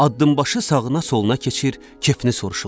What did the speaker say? Addımbaşı sağına, soluna keçir, kefini soruşurlar.